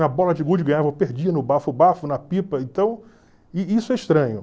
Na bola de gude ganhava ou perdia, no bafo-bafo, na pipa, então, i isso é estranho.